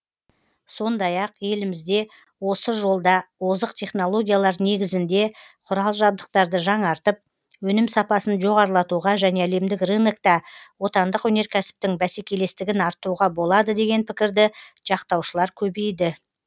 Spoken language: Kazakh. сондай ақ елімізде осы жолда озық технологиялар негізінде құрал жабдықтарды жаңартып өнім сапасын жоғарылатуға және әлемдік рынокта отандық өнеркәсіптің бәсекелестігін арттыруға болады деген пікірді жақтаушылар көбейді